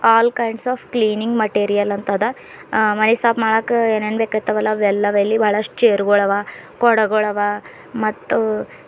all kinds of cleaning material ಅಂತಾ ಅದ ಅ ಮೈ ಸಾಫ್ ಮಾಡಕ್ಕೆ ಏನೇನ್ ಬೇಕೖತವವಲ್ಲ ಅವೆಲ್ಲ ಅವೆ ಇಲ್ಲಿ ಬಹಳಷ್ಟು ಚೇರ್ಗಳವ ಕೊಡಗಳವ ಮತ್ತು--